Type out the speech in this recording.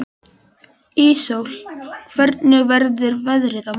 Íssól, hvernig verður veðrið á morgun?